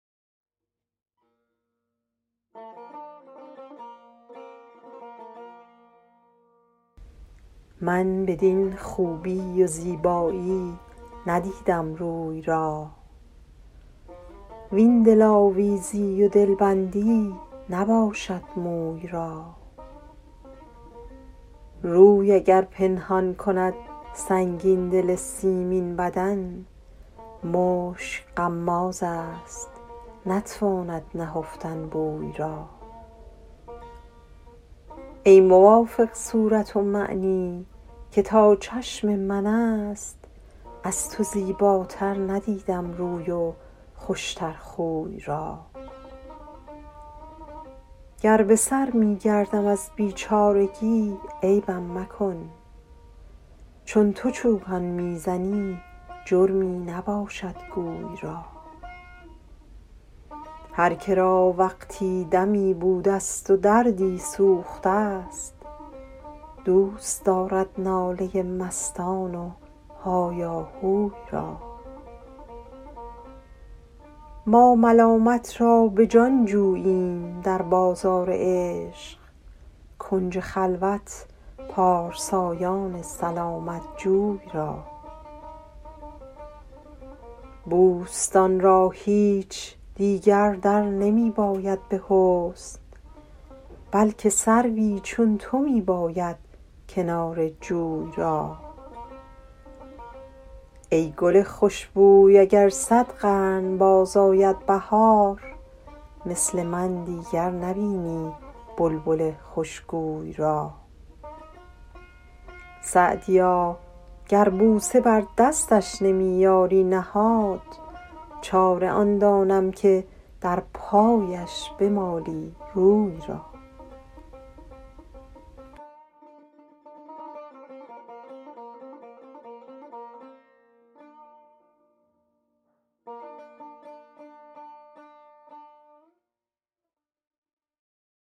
من بدین خوبی و زیبایی ندیدم روی را وین دلآویزی و دلبندی نباشد موی را روی اگر پنهان کند سنگین دل سیمین بدن مشک غمازست نتواند نهفتن بوی را ای موافق صورت ومعنی که تا چشم من است از تو زیباتر ندیدم روی و خوش تر خوی را گر به سر می گردم از بیچارگی عیبم مکن چون تو چوگان می زنی جرمی نباشد گوی را هر که را وقتی دمی بودست و دردی سوخته ست دوست دارد ناله مستان و هایاهوی را ما ملامت را به جان جوییم در بازار عشق کنج خلوت پارسایان سلامت جوی را بوستان را هیچ دیگر در نمی باید به حسن بلکه سروی چون تو می باید کنار جوی را ای گل خوش بوی اگر صد قرن باز آید بهار مثل من دیگر نبینی بلبل خوش گوی را سعدیا گر بوسه بر دستش نمی یاری نهاد چاره آن دانم که در پایش بمالی روی را